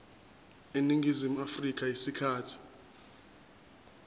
eningizimu afrika isikhathi